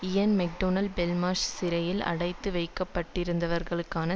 இயன் McDonald Belmarsh சிறையில் அடைத்து வைக்கப்பட்டிருந்தவர்களுக்கான